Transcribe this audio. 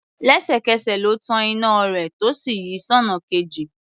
Lẹ́sẹ̀kẹsẹ̀ ló tan iná rẹ̀ tó sì yí sọ́nà kejì.